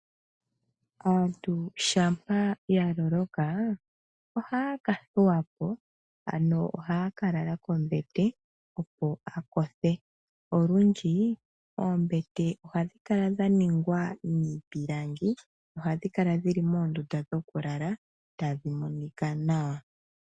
Aantu shampa ya loloka ohaya ka thuwapo ano ohaya ka lala pombete opo ya kothe, olundji oombete ohadhi kala dha ningwa niipilangi ohadhi kala dhili moondunda dhoku lala tadhi monika nawa.